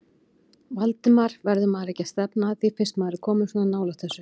Valdimar: Verður maður ekki að stefna að því fyrst maður er kominn svona nálægt þessu?